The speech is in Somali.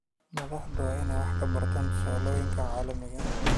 Madaxdu waa inay wax ka bartaan tusaalooyinka caalamiga ah.